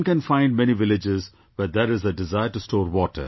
One can find many villages where there is a desire to store water